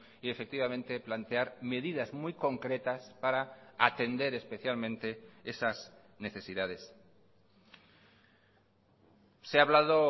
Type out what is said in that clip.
y efectivamente plantear medidas muy concretas para atender especialmente esas necesidades se ha hablado